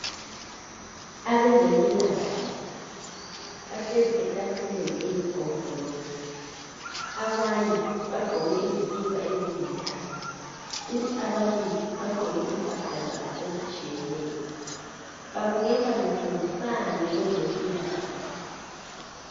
Abezempilakahle bahlezi etafuleni eyisigombolozi. Abane bagqoke izikipa ezilithanga kuthi ababili bagqoke impahla zabo ezitshiyeneyo. Babukeka befundisana ngezempilakahle.